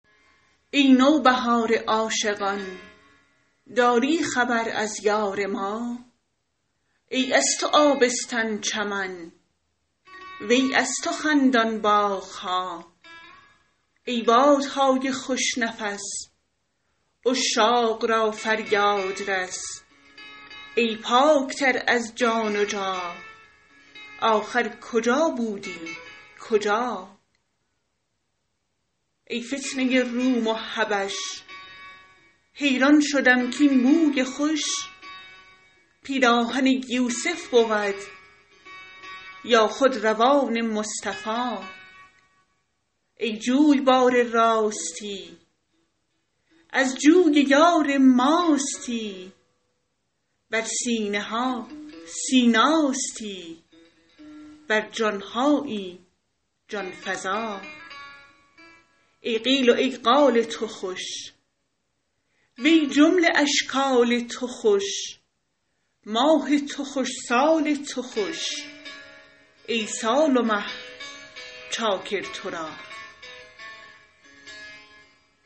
ای نوبهار عاشقان داری خبر از یار ما ای از تو آبستن چمن وی از تو خندان باغ ها ای باد نای خوش نفس عشاق را فریاد رس ای پاک تر از جان جا ن آخر کجا بودی کجا ای فتنه روم و حبش حیران شدم کاین بوی خوش پیراهن یوسف بود یا خود ردای مصطفی ای جویبار راستی از جوی یار ماستی بر سینه ها سیناستی بر جان هایی جان فزا ای قیل و ای قال تو خوش و ای جمله اشکال تو خوش ماه تو خوش سال تو خوش ای سال و مه چاکر تو را